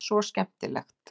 Þar er svo skemmtilegt.